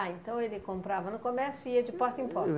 Ah, então ele comprava no comércio e ia de porta em porta?